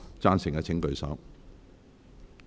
贊成的請舉手。